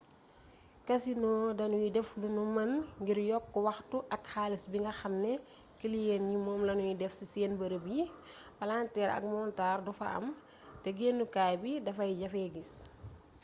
casinos danuy def lunu mën ngir yokk waxtu ak xaalis bi nga xam ne kiliyen yi moom lanuy def ci seen bërëb yi palanteer ak montar du fa am te gennukaay bi dafay jafee gis